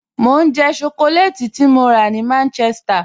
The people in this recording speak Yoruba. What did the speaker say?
Mọ n jẹ́ shọkọlẹ́tì tí mọ́ rà láti Manchester